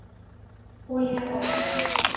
Olía á eld.